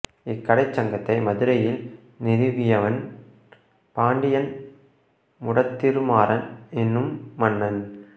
இக்கடைச் சங்கத்தை மதுரையில் நிறுவியவன் பாண்டியன் முடத்திருமாறன் என்னும் மன்னன்